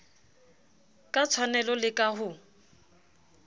ka tshwanelo le ka ho